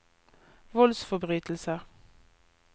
voldsforbrytelser